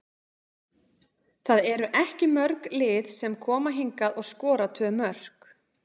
Það eru ekki mörg lið sem koma hingað og skora tvö mörk.